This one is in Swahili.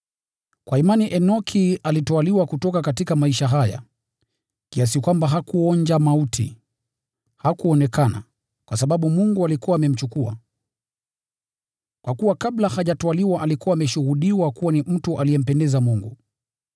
Kwa imani Enoki alitwaliwa kutoka maisha haya, kiasi kwamba hakuonja mauti. Hakuonekana, kwa sababu Mungu alikuwa amemchukua. Kwa kuwa kabla hajatwaliwa alikuwa ameshuhudiwa kuwa ni mtu aliyempendeza Mungu.